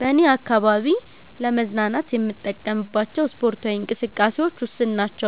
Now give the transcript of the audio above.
በኔ አካባቢ ለመዝናናት የምንጠቀምባቸው ስፓርታዊ እንቅስቃሴዎች ውስን ናቸ።